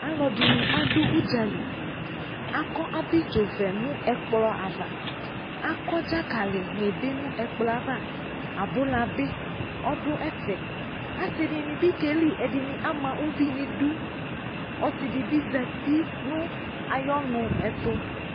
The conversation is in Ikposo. Alɔde ne ado udzaliAkɔ abidzovɛ no ɛkplɔ avaAkɔ dzakale ne be no ɛkplɔɛ ava, aboɔa be ɔdo ɛfɛ, Asede ne be keli, ama uviu nedu Ɔsede be zati ayɔnu eto